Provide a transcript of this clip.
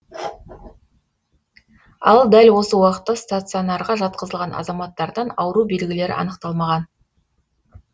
ал дәл осы уақытта стационарға жатқызылған азаматтардан ауру белгілері анықталмаған